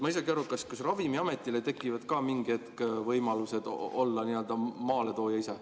Ma ei saa aru, kas Ravimiametile tekib ka mingi hetk võimalus olla ise nii-öelda maaletooja?